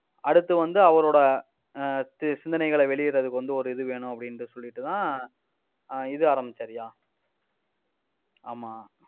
அடுத்து வந்து அவரோட ஆஹ் சி~ சிந்தனைகளை வெளியிடுறதுக்கு வந்து ஒரு இது வேணும் அப்படின்னு சொல்லிட்டுதான் ஆஹ் இது ஆரம்பிச்சாருய்யா ஆமா